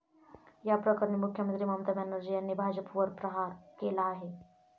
या प्रकरणी मुख्यमंत्री ममता बॅनर्जी यांनी भाजपवर प्रहार केला आहे.